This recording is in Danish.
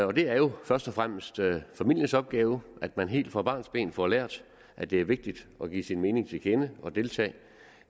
det er jo først og fremmest familiens opgave at man helt fra barnsben får lært at det er vigtigt at give sin mening til kende og deltage